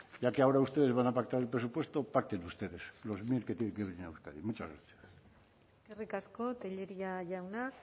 ya que ahora ustedes van a pactar el presupuesto pacten ustedes los mir que tienen que venir a euskadi muchas gracias eskerrik asko tellería jauna